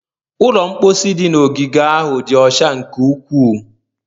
Ụlọ mposi dị n'ogige ahụ dị ọcha nke ukwuu.